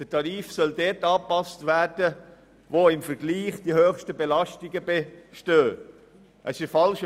Demnach soll der Tarif dort angepasst werden, wo im kantonalen Vergleich die höchsten Belastungen bestehen.